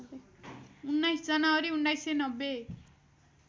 १९ जनवरी १९९०